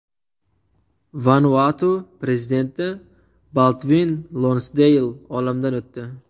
Vanuatu prezidenti Baldvin Lonsdeyl olamdan o‘tdi.